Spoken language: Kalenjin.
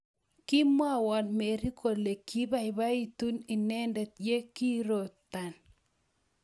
kimwowon Mary kole kibaibaitu inete ya kiirotan